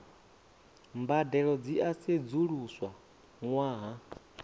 mbadelo dzi a sedzuluswa ṅwaha